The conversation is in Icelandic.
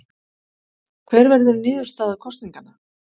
Hver verður niðurstaða kosninganna?